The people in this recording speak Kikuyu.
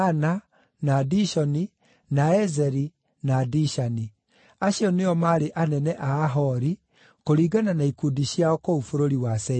na Dishoni, na Ezeri, na Dishani. Acio nĩo maarĩ anene a Ahori, kũringana na ikundi ciao kũu bũrũri wa Seiru.